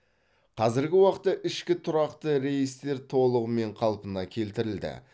қазіргі уақытта ішкі тұрақты рейстер толығымен қалпына келтірілді